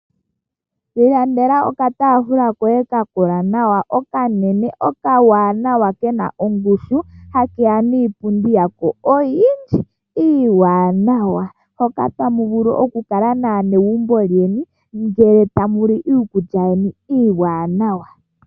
Ilandela okataafula koye kakola nawa okanene okawanawa ke na ongushu hakeya niipundi yako oyindji iiwanawa hoka tamu vulu okukala naanegumbo lyeni ngele tamu li iikulya yeni iiwanawa.